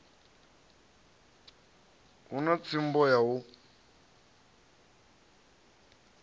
hu na tsumbo ya u